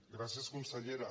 gràcies consellera